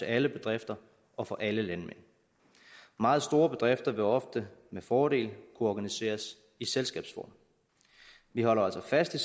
alle bedrifter og for alle landmænd meget store bedrifter vil ofte med fordel kunne organiseres i selskabsform vi holder altså fast i